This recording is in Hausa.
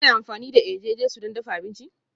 Kuna amfani da eje-jesu don dafa abinci?